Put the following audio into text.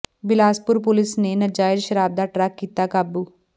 Bilaspur police ਨੇ ਨਜਾਇਜ਼ ਸ਼ਰਾਬ ਦਾ ਟਰੱਕ ਕੀਤਾ ਕਾਬੂ